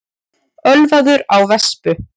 Ölvaður á vespu